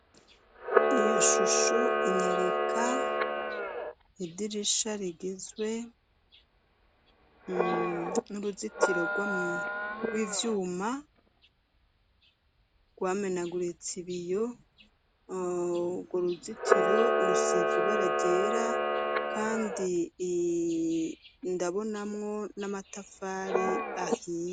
Iyo shusho inyereka idirisha rigizwe n'uruzitiro rw'ivyuma rwamenaguritse ibiyo rwo uruzitiro rusiz ibara ryera, kandi i ndabonamwo n'amatafari ahia.